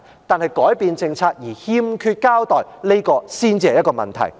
但是，改變政策而欠缺交代，這才是問題。